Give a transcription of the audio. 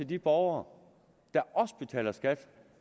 de borgere der betaler skat